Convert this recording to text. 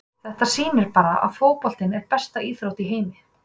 Þetta sýnir bara að fótboltinn er besta íþrótt í heimi.